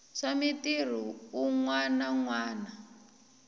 swa mitirhi u nwananwana